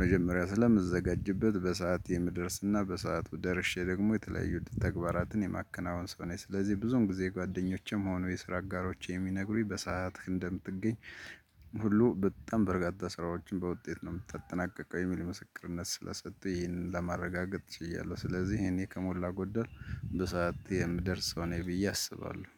መጀመሪያ ስለምዘጋጅበት በሰአት የምድረስና በሰአቱ ደርሼ ደግሞ የተለያዩ ተግባራትን የማከናወን ሰው ነኝ። ስለዚህ ብዙም ጊዜ ጓደኞችም ሆኖ የስራ አጋሮቼ የሚነግሩኝ በሰአት እንደምትገኝ ሁሉ በጣም በርካት ስራዎችን በውጤት ነው የምታጠናቅቀው የሚል ምስክርነት ስለሰጡ ይህንን ለማረጋገጥ ችያለሁ። ስለዚህ እኔ ከሞላ ጎደል በሰአት የምደርሰው ነኝ ብዬ አስባለሁ